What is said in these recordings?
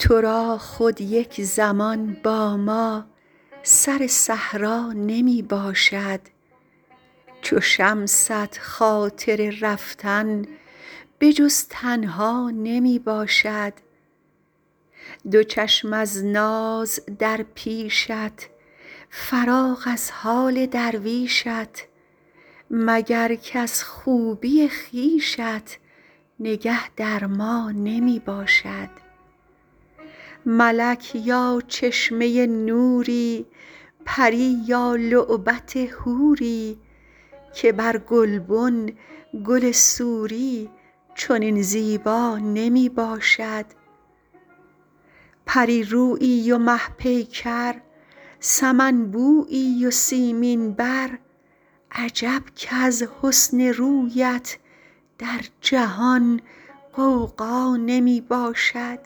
تو را خود یک زمان با ما سر صحرا نمی باشد چو شمست خاطر رفتن به جز تنها نمی باشد دو چشم از ناز در پیشت فراغ از حال درویشت مگر کز خوبی خویشت نگه در ما نمی باشد ملک یا چشمه نوری پری یا لعبت حوری که بر گلبن گل سوری چنین زیبا نمی باشد پری رویی و مه پیکر سمن بویی و سیمین بر عجب کز حسن رویت در جهان غوغا نمی باشد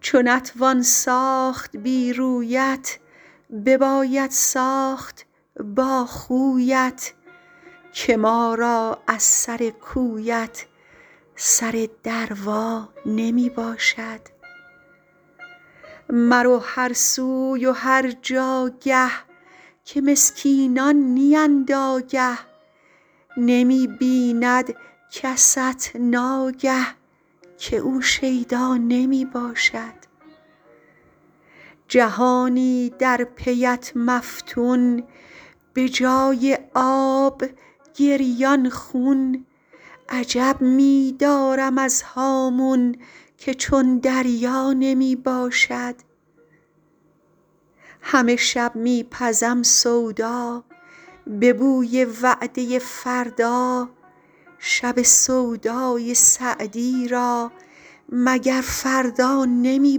چو نتوان ساخت بی رویت بباید ساخت با خویت که ما را از سر کویت سر دروا نمی باشد مرو هر سوی و هر جاگه که مسکینان نیند آگه نمی بیند کست ناگه که او شیدا نمی باشد جهانی در پی ات مفتون به جای آب گریان خون عجب می دارم از هامون که چون دریا نمی باشد همه شب می پزم سودا به بوی وعده فردا شب سودای سعدی را مگر فردا نمی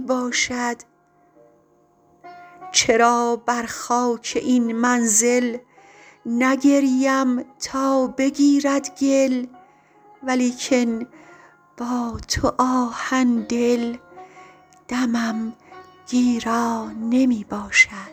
باشد چرا بر خاک این منزل نگریم تا بگیرد گل ولیکن با تو آهن دل دمم گیرا نمی باشد